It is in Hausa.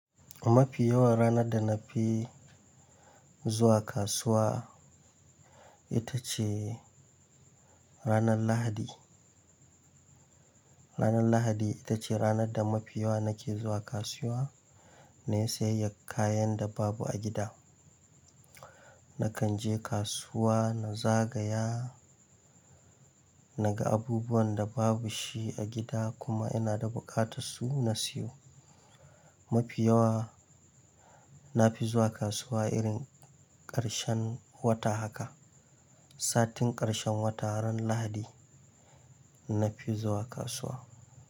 Mafi yawan ranar da na fi zuwa kasuwa ita ce ranar Lahadi. Ranar Lahadi ita ce ranar da mafi yawa nake zuwa kasuwa na sayaryar kayan da babu a gida. Nakan je kasuwa na zagaya, na ga abubuwan da babu shi a gida kuma ina da buƙatar su na siyo. Mafi yawa na fi zuwa kasuwa irin ƙarshen wata haka. Satun ƙarshen wata ran Lahadi na fi zuwa kasuwa.